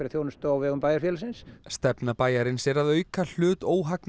þjónustu á vegum bæjarfélagsins stefna bæjarins er að auka hlut